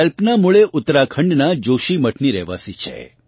કલ્પના મૂળે ઉત્તરાખંડનાં જોશીમઠની રહેવાસી છે